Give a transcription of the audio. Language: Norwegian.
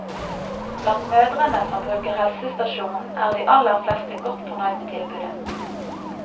Blant mødrene som bruker helsestasjonen, er de aller fleste godt fornøyd med tilbudet.